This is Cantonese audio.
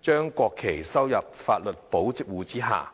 將國旗收入法律保護之下。